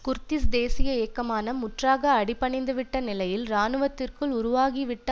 Kurdish தேசிய இயக்கமான முற்றாக அடிபணிந்துவிட்ட நிலையில் இராணுவத்திற்குள் உருவாகிவிட்ட